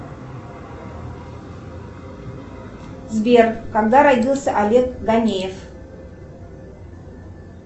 сбер когда родился олег ганеев